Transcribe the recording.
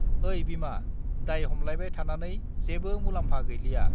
ओइ बिमा दाय हमलायबाय थानानै जेबो मुलाम्फा गैलिया